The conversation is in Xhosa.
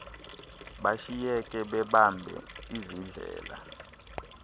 bashiyeke bebambe izidlele